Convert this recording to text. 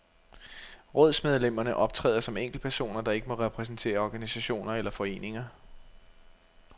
Rådsmedlemmerne optræder som enkeltpersoner, der ikke må repræsentere organisationer eller foreninger.